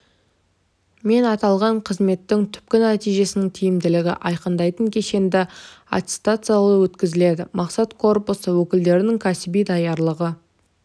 мен аталған қызметтің түпкі нәтижесінің тиімділігін айқындайтын кешенді аттестаттау өткізіледі мақсат корпусы өкілдерінің кәсіби даярлығы